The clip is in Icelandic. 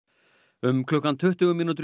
um klukkan tuttugu mínútur í